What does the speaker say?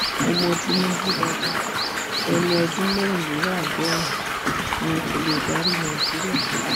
mo mọ tinubu dáadáa ẹni ọdún mẹrìndínláàádọrùn ni kó lè darí nàìjíríà